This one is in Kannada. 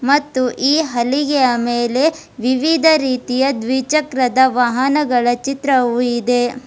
ಮತ್ತು ಈ ಹಲಿಗೆಯ ಮೇಲೆ ವಿವಿಧ ರೀತಿಯ ದ್ವಿಚಕ್ರದ ವಾಹನಗಳ ಚಿತ್ರವು ಇದೆ.